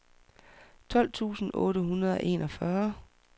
tolv tusind otte hundrede og enogfyrre